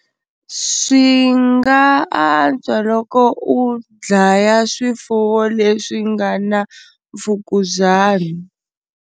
Swi nga antswa loko u dlaya swifuwo leswi nga na mfukuzana.